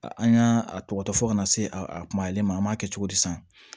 An y'a a tɔgɔtɔ fɔ kana se a kumalen ma an m'a kɛ cogo di san